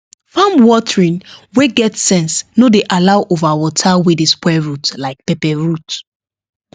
farm watering wey get sense no dey allow over water wey dey spoil root like pepper root